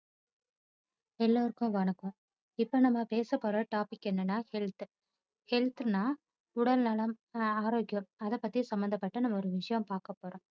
எல்லோருக்கும் வணக்கம் இப்போ நம்ம பேசப்போற topic என்னன்னா health health ன்னா உடல் நலம் ஆரோக்கியம் அதைபத்தி சம்பத்தப்பட்ட ஒரு விஷயம் பார்க்கப்போறோம்.